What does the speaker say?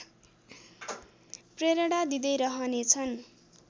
प्रेरणा दिँदै रहनेछ्न्